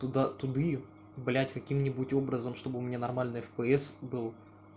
туда туда блядь каким-нибудь образом чтобы у меня нормально фпс был